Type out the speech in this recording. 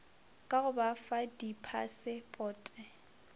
ka go ba fa diphasepote